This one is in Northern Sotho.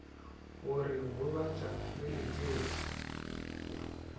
go re gobatša re letetše